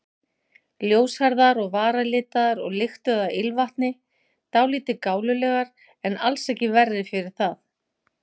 Ljóshærðar og varalitaðar og lyktuðu af ilmvatni, dálítið gálulegar en alls ekki verri fyrir það.